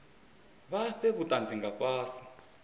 vha fhe vhutanzi nga fhasi